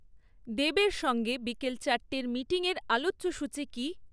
দেবের সঙ্গে বিকেল চারটের মিটিংয়ের আলোচ্যসূচি কী?